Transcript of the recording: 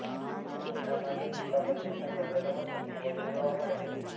તે મોટાભાગે સુકા પ્રદેશના જંગલોમાં સૌથી વધુ જોવા મળે છે